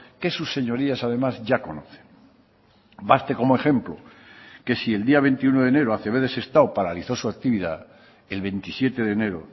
que sus señorías además ya conocen baste como ejemplo que si el día veintiuno de enero acb de sestao paralizó su actividad el veintisiete de enero